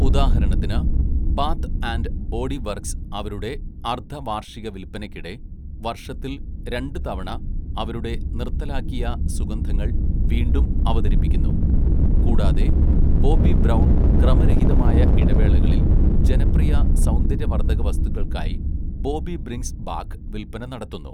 ഉദാഹരണത്തിന്, Bath and Body Works അവരുടെ അർദ്ധ വാർഷിക വിൽപ്പനയ്ക്കിടെ വർഷത്തിൽ രണ്ട് തവണ അവരുടെ നിർത്തലാക്കിയ സുഗന്ധങ്ങൾ വീണ്ടും അവതരിപ്പിക്കുന്നു, കൂടാതെ ബോബി ബ്രൗൺ ക്രമരഹിതമായ ഇടവേളകളിൽ ജനപ്രിയ സൗന്ദര്യവർദ്ധക വസ്തുക്കൾക്കായി 'ബോബി ബ്രിംഗ്സ് ബാക്ക്' വിൽപ്പന നടത്തുന്നു.